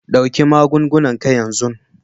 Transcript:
Ɗauki magungunan ka yanzun